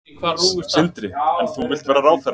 Sindri: En þú vilt vera ráðherra?